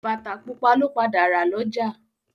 Bàtá pupa lo padà rà lọ́jà.